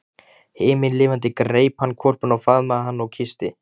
Himinlifandi greip hann hvolpinn og faðmaði hann og kyssti.